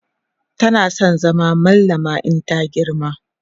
tana San zama mallama in ta girma